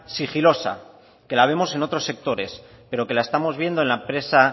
sigilosa que la vemos en otros sectores pero que la estamos viendo en la empresa